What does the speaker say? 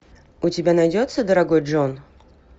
у тебя найдется дорогой джон